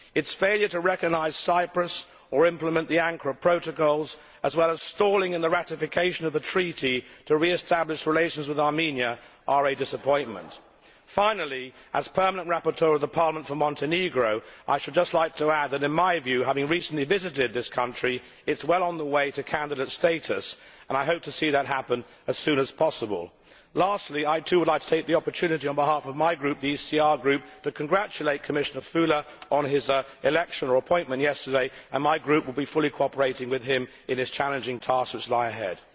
Its failure to recognise Cyprus or implement the Ankara protocols, as well as stalling in the ratification of the treaty to re establish relations with Armenia, is a disappointment. Finally, as permanent rapporteur of the Parliament for Montenegro, I should just like to add that in my view, having recently visited this country, it is well on its way to candidate status, and I hope to see that happen as soon as possible. Lastly, I, too, would like to take the opportunity on behalf of my group, the ECR Group, to congratulate Commissioner Füle on his electoral appointment yesterday, and my group will be fully cooperating with him in his challenging tasks ahead.